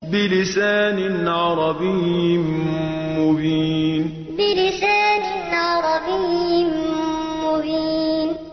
بِلِسَانٍ عَرَبِيٍّ مُّبِينٍ بِلِسَانٍ عَرَبِيٍّ مُّبِينٍ